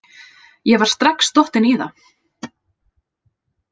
Ég var strax dottin í það.